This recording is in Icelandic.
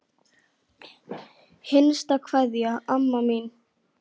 HINSTA KVEÐJA Amma mín.